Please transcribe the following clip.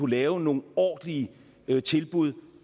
lave nogle ordentlige tilbud